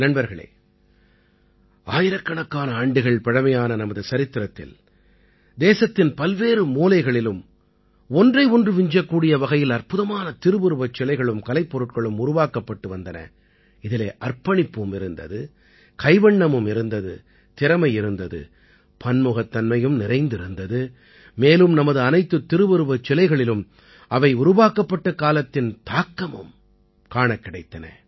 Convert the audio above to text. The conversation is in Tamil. நண்பர்களே ஆயிரக்கணக்கான ஆண்டுகள் பழைமையான நமது சரித்திரத்தில் தேசத்தின் பல்வேறு மூலைகளிலும் ஒன்றை ஒன்று விஞ்சக்கூடிய வகையில் அற்புதமான திருவுருவச் சிலைகளும் கலைப்பொருட்களும் உருவாக்கப்பட்டு வந்தன இதிலே அர்ப்பணிப்பும் இருந்தது கைவண்ணமும் இருந்தது திறமை இருந்தது பன்முகத்தன்மையும் நிறைந்திருந்தது மேலும் நமது அனைத்து திருவுருவச் சிலைகளிலும் அவை உருவாக்கப்பட்ட காலத்தின் தாக்கமும் காணக் கிடைத்தன